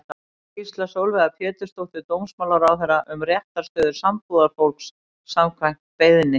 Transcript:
Skýrsla Sólveigar Pétursdóttur dómsmálaráðherra um réttarstöðu sambúðarfólks, samkvæmt beiðni.